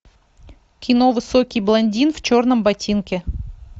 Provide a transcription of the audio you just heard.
кино высокий блондин в черном ботинке